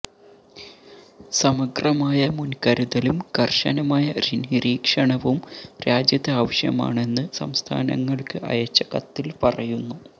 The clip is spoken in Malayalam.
സമഗ്രമായ മുൻകരുതലും കർശനമായ നിരീക്ഷണവും രാജ്യത്ത് ആവശ്യമാണെന്ന് സംസ്ഥാനങ്ങൾക്ക് അയച്ച കത്തിൽ പറയുന്നു